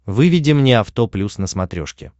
выведи мне авто плюс на смотрешке